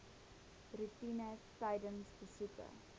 roetine tydens besoeke